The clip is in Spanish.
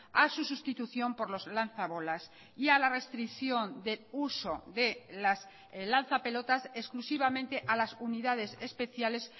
a su sustitución por los lanza bolas y a la restricción de uso de las lanza pelotas exclusivamente a las unidades especiales